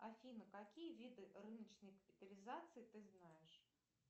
афина какие виды рыночной капитализации ты знаешь